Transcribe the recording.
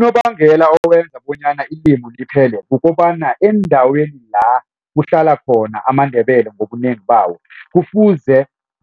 Unobangela owenza bonyana ilimu liphele kukobana endaweni la kuhlala khona amaNdebele ngobunengi bawo kufuze